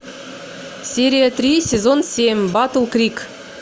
серия три сезон семь батл крик